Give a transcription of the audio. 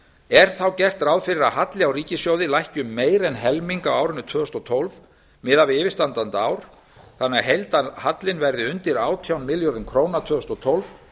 er þá gert ráð fyrir að halli á ríkissjóði lækki um meira en helming á árinu tvö þúsund og tólf miðað við yfirstandandi ár þannig að heildarhallinn verði undir átján milljörðum króna tvö þúsund og tólf